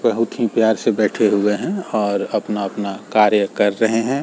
बहुत ही प्यार से बैठे हुए है और अपना-अपना कार्य कर रहे है।